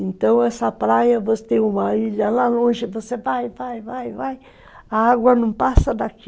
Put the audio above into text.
Então, essa praia, você tem uma ilha lá longe, você vai, vai, vai, vai, a água não passa daqui.